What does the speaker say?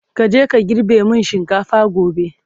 kaje ka girbe min shinkafan gobe!